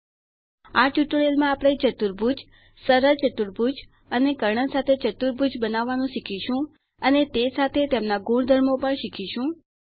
આ ટ્યુટોરીયલ માં આપણે ચતુર્ભુજ એટલે કે ક્વૉડ્રિલેટરલ સરળ ચતુર્ભુજ અને કર્ણ સાથે ચતુર્ભુજ બનાવવાનું શીખીશું અને તે સાથે તેમના ગુણધર્મો પણ શીખીશું